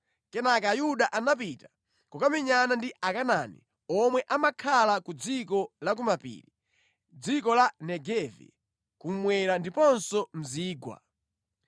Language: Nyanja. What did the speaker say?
Kenaka Ayuda anapita kukamenyana ndi Akanaani omwe amakhala ku dziko la ku mapiri, dziko la Negevi kummwera ndiponso mu zigwa.